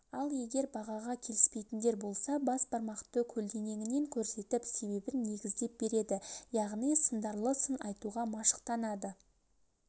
ал егер бағаға келіспейтіндер болса басбармақты көлденеңінен көрсетіп себебін негіздеп береді яғни сындарлы сын айтуға машықтанады